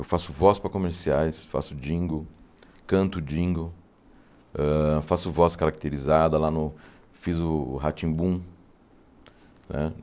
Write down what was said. Eu faço voz para comerciais, faço dingo, canto dingo hã, faço voz caracterizada lá no... Fiz o Rá-Tim-Bum.